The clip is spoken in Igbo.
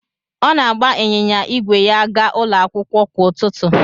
Ọ na-agba ịnyịnya ígwè ya aga ụlọ akwụkwọ kwa ụtụtụ.